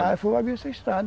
Ah, fomos abrir essa estrada.